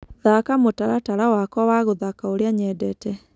thaka mũtaratara wakwa wa guthaka ũria nyendete